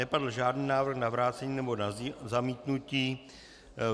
Nezazněl žádný návrh na vrácení nebo na zamítnutí.